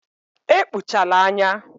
Ekpuchala anya.